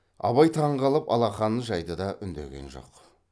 абай таң қалып алақанын жайды да үндеген жоқ